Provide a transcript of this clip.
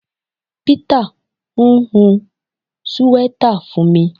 Peter n hun siweta fun mi